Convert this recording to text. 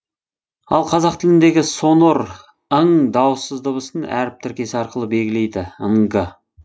ал қазақ тіліндегі сонор ң дауыссыз дыбысын әріп тіркесі арқылы белгілейді нг